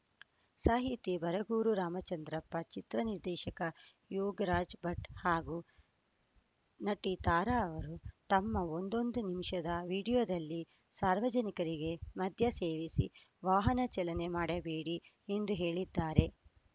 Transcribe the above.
ಸಾಹಿತಿ ಬರಗೂರು ರಾಮಚಂದ್ರಪ್ಪ ಚಿತ್ರ ನಿರ್ದೇಶಕ ಯೋಗರಾಜ್‌ ಭಟ್‌ ಹಾಗೂ ನಟಿ ತಾರಾ ಅವರು ತಮ್ಮ ಒಂದೊಂದು ನಿಮಿಷದ ವಿಡಿಯೋದಲ್ಲಿ ಸಾರ್ವಜನಿಕರಿಗೆ ಮದ್ಯ ಸೇವಿಸಿ ವಾಹನ ಚಾಲನೆ ಮಾಡಬೇಡಿ ಎಂದು ಹೇಳಿದ್ದಾರೆ